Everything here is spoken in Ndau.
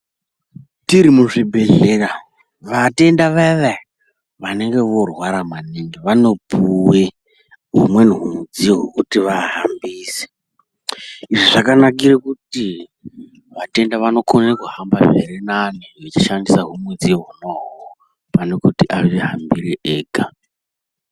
Tiri muzvibhedhlera vatenda vaya-vaya vanenge vorwara maningi vanopuve humweni humudziyo hwekuti vahambise. Izvi zvakanakire kuti vatenda vanokone kuhamba zvirinane vachishandisa humweni hudiyo hona ihoho panekuti azvihambire ega.